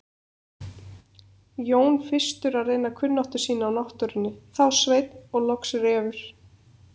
Jón fyrstur að reyna kunnáttu sína á náttúrunni, þá Sveinn og loks Refur.